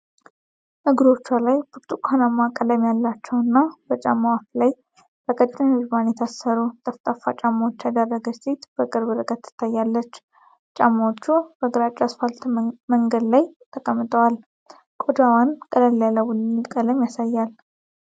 እግሮቿ ላይ ብርቱካንማ ቀለም ያላቸው እና በጫማው አፍ ላይ በቀጭን ሪባን የታሰሩ ጠፍጣፋ ጫማዎች ያደረገች ሴት በቅርብ ርቀት ትታያለች። ጫማዎቹ በግራጫ የአስፋልት መንገድ ላይ ተቀምጠዋል፤ ቆዳዋን ቀለል ያለ ቡኒ ቀለም ያሳያል።